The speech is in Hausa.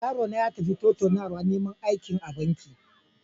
Yarona ya tafi tattaunawar neman aiki a banki.